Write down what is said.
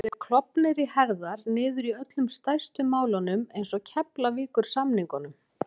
Þeir hafa verið klofnir í herðar niður í öllum stærstu málunum eins og Keflavíkursamningnum